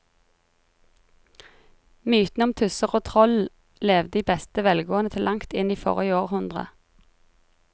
Mytene om tusser og troll levde i beste velgående til langt inn i forrige århundre.